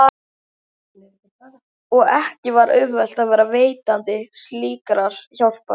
Og ekki var auðvelt að vera veitandi slíkrar hjálpar.